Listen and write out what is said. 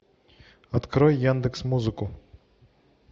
открой яндекс музыку